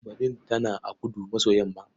Badun tana a kudu-maso-yamma.